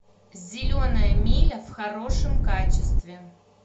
зеленая миля в хорошем качестве